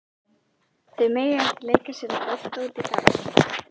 Þau mega ekki leika sér að bolta úti í garði.